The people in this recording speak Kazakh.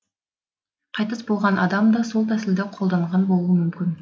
қайтыс болған адам да сол тәсілді қолданған болуы мүмкін